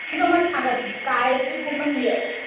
तुमचं मत सांगा तुम्ही. काय आहे ते पूर्ण क्लियर.